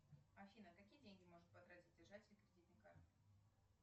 афина какие деньги может потратить держатель кредитной карты